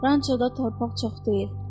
Ranço da torpaq çox deyil.